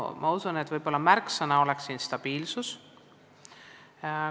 Ma usun, et märksõna võiks siin olla stabiilsus.